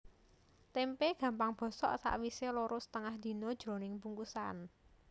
Témpé gampang bosok sawisé loro setengah dina jroning bungkusan